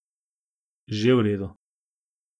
Že v redu.